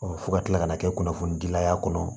fo ka kila ka na kɛ kunnafoni dilay'a kɔnɔ